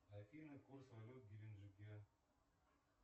афина курс валют в геленджике